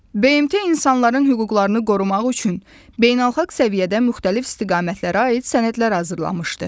BMT insanların hüquqlarını qorumaq üçün beynəlxalq səviyyədə müxtəlif istiqamətlərə aid sənədlər hazırlamışdı.